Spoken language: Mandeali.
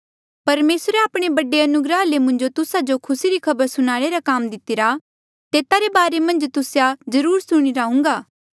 परमेसरे आपणे बड़े अनुग्रहा ले मुंजो तुस्सा जो खुसी री खबर सुणाणे रा काम दितिरा तेता रे बारे मन्झ तुस्से जरुर सुणिरा हुन्घा